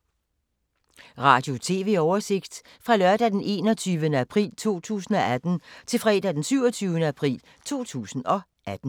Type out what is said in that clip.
Radio/TV oversigt fra lørdag d. 21. april 2018 til fredag d. 27. april 2018